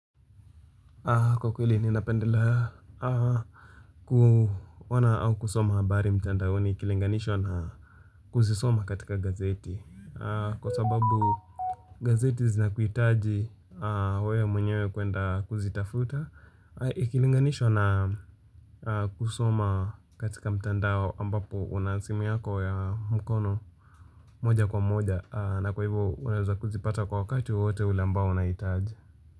Kwa kwili ninapendelea ku ona au kusoma habari mitandao ikilinganishwa na kuzisoma katika gazeti Kwa sababu gazeti zinakuitaji wewe mwenyewe kwenda kuzitafuta Ikilinganishwa na kusoma katika mitandao ambapo una simu yako ya mkono moja kwa moja na kwa hivo unaweza kuzipata kwa wakati wotewote ule ambao unahitaji.